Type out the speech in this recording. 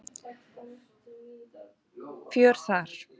Fjör þar.